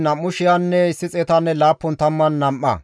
Shafaaxiya zereththati 372,